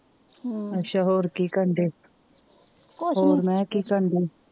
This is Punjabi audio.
ਹੋਰ ਕੀ ਕਰਨ ਦੇ ਹੋਰ ਮੈ ਕਿਹਾ ਕੀ ਕਰਨ ਦੀ